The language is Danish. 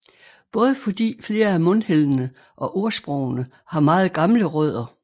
Både fordi flere af mundheldene og ordsprogene har meget gamle rødder